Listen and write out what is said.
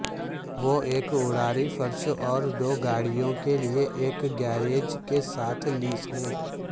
وہ ایک اٹاری فرش اور دو گاڑیوں کے لئے ایک گیراج کے ساتھ لیس ہیں